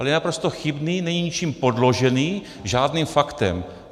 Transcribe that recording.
Ale je naprosto chybný, není ničím podložený, žádným faktem.